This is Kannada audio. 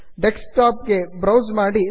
desktopಗೆ ಬ್ರೌಸ್ ಮಾಡಿ